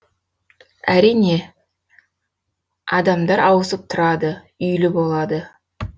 әрине адамдар ауысып тұрады үйлі болады